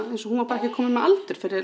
eins og hún var bara ekki komin með aldur fyrir